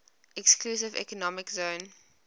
exclusive economic zone